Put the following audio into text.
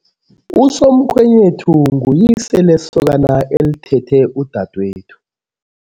Usomkhwenyethu nguyise lesokana elithethe udadwethu.